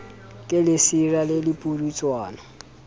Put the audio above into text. ke lesira le le pudutswana